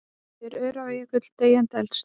Er Öræfajökull deyjandi eldstöð?